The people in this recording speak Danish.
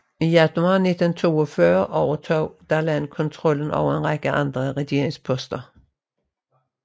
I januar 1942 overtog Darlan kontrollen over en række andre regeringsposter